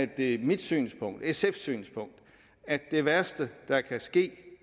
det mit synspunkt sfs synspunkt at det værste der kan ske